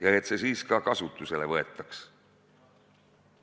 Ja et see siis ka kasutusele võetaks.